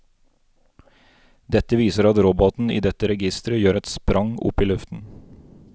Dette viser at roboten i dette registeret gjør et sprang opp i luften.